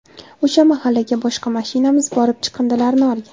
O‘sha mahallaga boshqa mashinamiz borib chiqindilarni olgan.